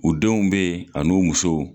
U denw be yen , anu musow.